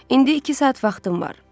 İndi iki saat vaxtım var.